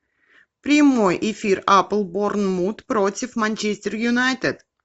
прямой эфир апл борнмут против манчестер юнайтед